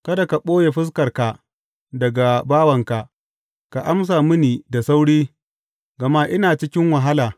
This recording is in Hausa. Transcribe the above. Kada ka ɓoye fuskarka daga bawanka; ka amsa mini da sauri, gama ina cikin wahala.